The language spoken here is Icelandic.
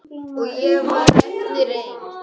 Og ég varð eftir ein.